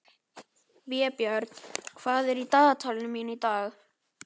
Vébjörn, hvað er í dagatalinu mínu í dag?